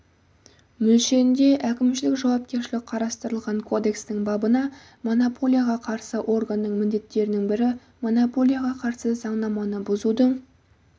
мөлшерінде әкімшілік жауапкершілік қарастырылған кодекстің бабында монополияға қарсы органның міндеттерінің бірі монополияға қарсы заңнаманы бұзудың